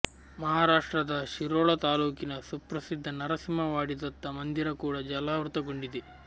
ಮಹಾರಾಷ್ಟ್ರದ ಶಿರೋಳ ತಾಲೂಕಿನ ಸುಪ್ರಸಿದ್ಧ ನರಸಿಂಹವಾಡಿ ದತ್ತ ಮಂದಿರ ಕೂಡ ಜಲಾವೃತಗೊಂಡಿದೆ